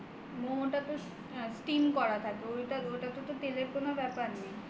momo খাই momo টা তো steam করা থাকে ওটাতে তো তেলের কোন ব্যাপার নেই